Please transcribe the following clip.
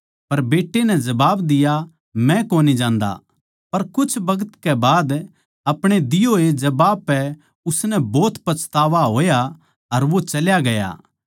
पर बेट्टे नै जबाब दिया मै कोनी जान्दा पर कुछ बखत के बाद अपणे दिए होए उत्तर पै उसनै भोत पछतावा होया अर वो चल्या गया